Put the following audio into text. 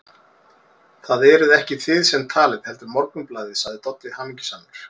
Það eruð ekki þið sem talið, heldur Morgunblaðið, sagði Doddi hamingjusamur.